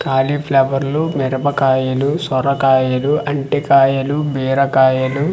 కాలీఫ్లవర్లు మెరపకాయలు సొరకాయలు అంటీకాయాలు బీరకాయలు.